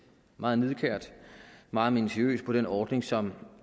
meget nidkært og meget minutiøst på den ordning som